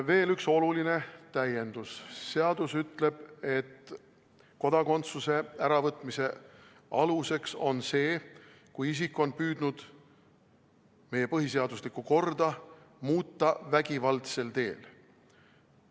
Veel üks oluline täiendus: seadus ütleb, et kodakondsuse äravõtmise aluseks on see, kui isik on püüdnud meie põhiseaduslikku korda muuta vägivaldsel teel.